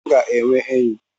m ga enwe oyi